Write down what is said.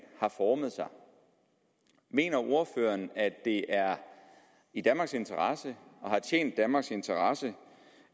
har formet sig mener ordføreren at det er i danmarks interesse og har tjent danmarks interesse